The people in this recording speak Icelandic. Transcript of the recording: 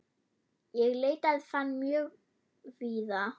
Ég leitaði fanga mjög víða.